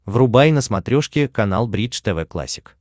врубай на смотрешке канал бридж тв классик